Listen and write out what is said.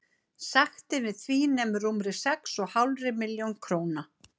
Sektin við því nemur rúmri sex og hálfri milljón króna.